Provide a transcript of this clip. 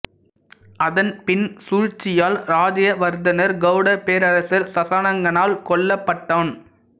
அதன் பின் சூழ்ச்சியால் ராஜ்யவர்தனர் கௌடப் பேரரசர் சசாங்கனால் கொல்லப்பட்டான்